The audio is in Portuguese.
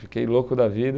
Fiquei louco da vida.